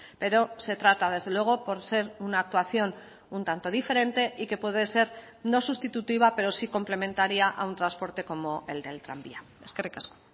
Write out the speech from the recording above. pero se trata desde luego por ser una actuación un tanto diferente y que puede ser no sustitutiva pero sí complementaria a un transporte como el del tranvía eskerrik asko